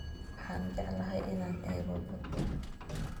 Waxan jeclhy inan eeko baata.